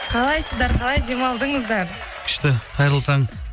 қалайсыздар қалай демалдыңыздар күшті қайырлы таң